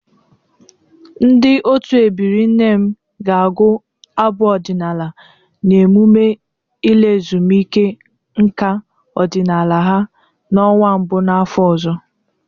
Ndị otu ebiri nne m ga-agụ abụ ọdịnala na eMụme ịla ezumike nka ọdịnala ha n'ọnwa mbụ n'afọ ọzọ.